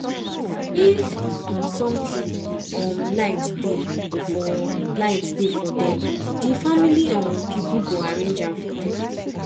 if um somtin um lite dey for lite dey for dem di family um pipo go arrange am for dem